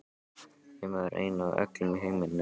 Ég var ein í öllum heiminum, alein.